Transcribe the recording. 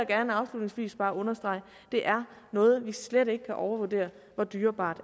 gerne afslutningsvis bare understrege det er noget vi slet ikke kan overvurdere hvor dyrebart